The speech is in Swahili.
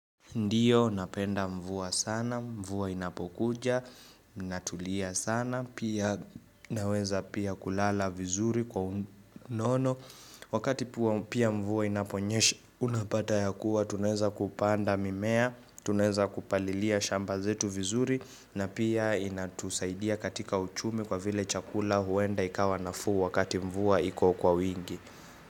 Ndio, napenda mvua sana, mvua inapokuja natulia sana, pia naweza pia kulala vizuri kwa unono. Wakati pia mvua inaponyesha, unapata ya kuwa tunaweza kupanda mimea, tunaweza kupalilia shamba zetu vizuri, na pia inatusaidia katika uchumi kwa vile chakula huenda ikawa nafuu wakati mvua iko kwa wingi.